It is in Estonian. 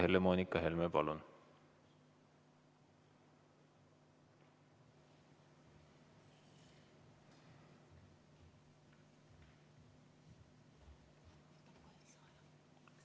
Helle-Moonika Helme, palun!